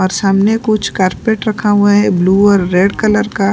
और सामने कुछ कार्पेट रखा हुआ है ब्लू और रेड कलर का।